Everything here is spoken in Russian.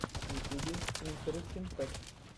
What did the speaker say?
в ютюбе интерестин фэктс